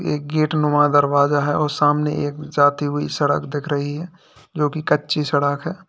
एक गेट नुमा दरवाजा है और सामने एक जाती हुई सड़क दिख रही है जो कि कच्ची सड़ाक है।